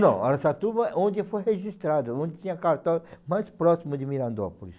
Não, Araçatuba é onde foi registrado, onde tinha cartório mais próximo de Mirandópolis.